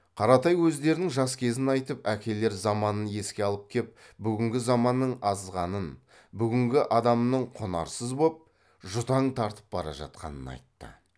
қаратай өздерінің жас кезін айтып әкелер заманын еске алып кеп бүгінгі заманның азғанын бүгінгі адамның құнарсыз боп жұтаң тартып бара жатқанын айтты